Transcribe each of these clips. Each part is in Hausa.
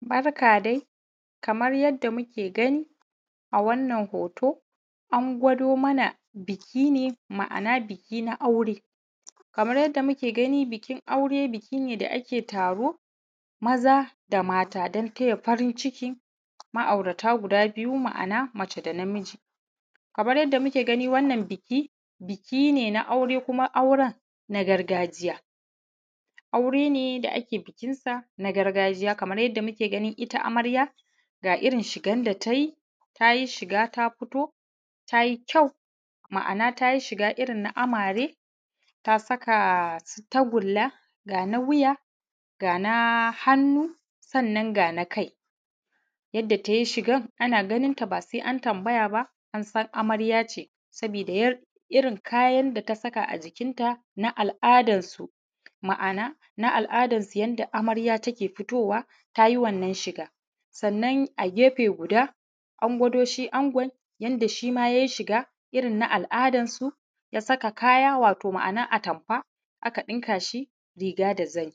Barka dai kamar yadda muke gani a wannan hoto an gwado mana biki ne ma’ana biki na aure. Kamar yadda muke gani bikin aure biki ne da ake taro maza da mata don taya murna da farin ciki ma’aurata guda biyu ma’ana mace da namiji, kamar yadda muke gani biki, biki ne na aure kuma na gargajiya aure da ake bikinsa na gargajiya kamar yadda muke ganin ita amarya: ga irin shigarta da ta ji, ta ji shigarta fito ta ji ƙyau ma'ana ta ji shiga irin na amare ga su tagulla ka na wuya ga hannu, sannan ga na kai. Yadda ta yi shigan da gan ta ba sai an tambaya ba amarya ce sabida yadda irin kayan da ta saka a jikinta na al'adarsu, ma'ana na al'adar su yadda amarya take fitowa ta yi wannan shiga sannan gefe guda an gwado shi ango yadda shima yai shiga irin na al'adansu ya saka kaya wato atamfa aka ɗinka shi riga da zani.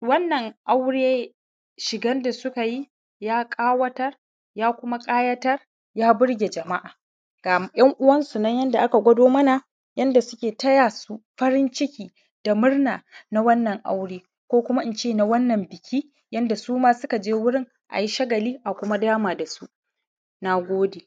Wannan aure shigan da suka yi, ya ƙawatar, ya kuma ƙayatar ya burge jama'a. Ga 'yan'uwansu nan yanda aka gwado mana yadda suke taya su farin ciki da murna na wannan aure ko kuma ince na wannan biki yadda su ma suka je wurin ayi shagali a kuma dama da su. Na gode.